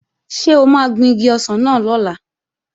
Ṣé o máa gun igi ọsàn náà lọ́la?